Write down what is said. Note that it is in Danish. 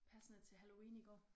Passende til halloween i går